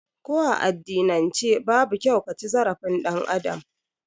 Ko a addinan ce babu kyau kaci zarafin ɗan Adam